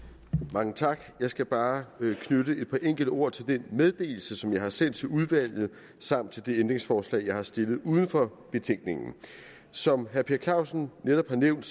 mange tak jeg skal bare knytte et par enkelte ord til den meddelelse som jeg har sendt til udvalget samt til de ændringsforslag jeg har stillet uden for betænkningen som herre per clausen netop har nævnt